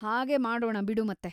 ಹಾಗೇ ಮಾಡೋಣ ಬಿಡು ಮತ್ತೆ.